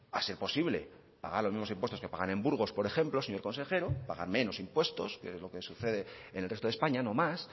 a ser posible pagar los mismos impuestos que pagan en burgos por ejemplo señor consejero pagan menos impuestos que es lo que sucede en el resto de españa no más